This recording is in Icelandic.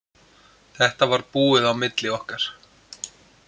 Þetta var búið á milli okkar.